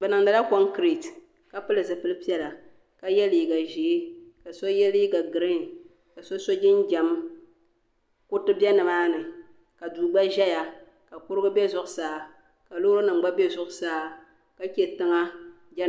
Bi niŋdi la konkirɛte ka pili ka pili zipili piɛla ka yɛ liiga ʒee ka yɛ liiga giriin ka so so jinjam kuriti bɛ ni maa ni ka duu gba ʒɛya ka kurugu bɛ zuɣusaa ka loori nima gba bɛ zuɣusaa ka che tiŋa.